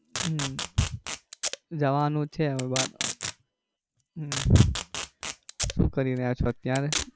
હમ જવાનું છે હવે બાર હમ શું કરી રહ્યા છો અત્યારે?